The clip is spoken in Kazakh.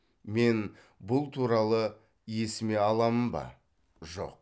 мен бұл туралы есіме аламын ба жоқ